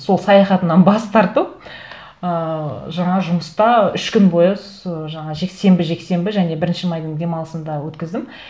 сол саяхатынан бас тартып ыыы жаңағы жұмыста үш күн бойы жаңағы сенбі жексенбі және бірінші майдың демалысын да өткіздім